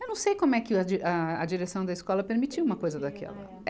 Eu não sei como é que a, a direção da escola permitiu uma coisa daquela.